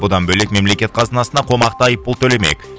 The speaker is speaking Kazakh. одан бөлек мемлекет қазынасына қомақты айыппұл төлемек